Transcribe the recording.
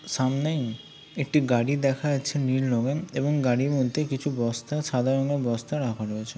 সামনেই একটি গাড়ি দেখা যাচ্ছে নীল রঙের এবং গাড়ির মধ্যে কিছু বস্তা সাদা রঙের বস্তা রাখা রয়েছে।